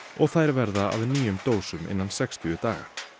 og þær verða að nýjum dósum innan sextíu daga